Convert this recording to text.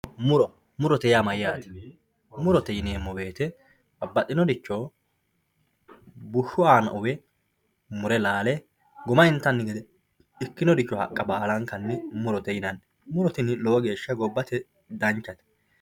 muro murote yaa mayyate murote yineemmo wote babbaxinoricho bushshu aana uwe mure laale guma intanni gede ikkinoricho haqqa baalankanni murote yinanni muro tini addinkanni gobbate danchate.